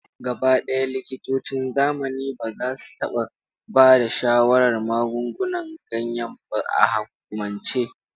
Gabaɗaya, likitocin zamani ba za su taɓa ba da shawarar magungunan ganya ba a hukumance.